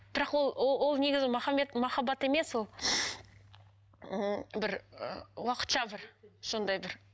бірақ ол негізі махаббат емес ол ммм бір ы уақытша бір сондай бір